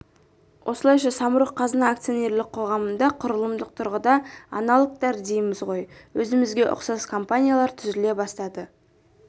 осылайша самұрық-қазына акционерлік қоғамында құрылымдық тұрғыда аналогтар дейміз ғой өзімізге ұқсас компаниялар түзіле бастады